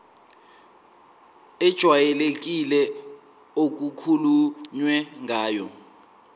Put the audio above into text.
ejwayelekile okukhulunywe ngayo